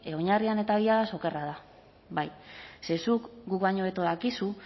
oinarrian eta okerra da bai ze zuk guk baino hobeto dakizu